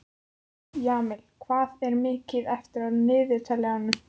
Jamil, hvað er mikið eftir af niðurteljaranum?